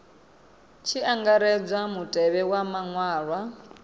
tshi angaredzwa mutevhe wa maṅwalwa